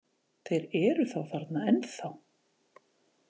Þeir eru þá þarna ennþá!